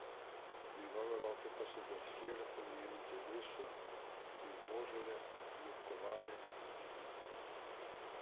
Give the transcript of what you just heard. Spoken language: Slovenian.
Njegove roke pa so drsele po njenem telesu, jo božale, ljubkovale in mirile.